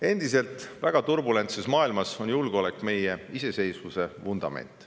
Endiselt väga turbulentses maailmas on julgeolek meie iseseisvuse vundament.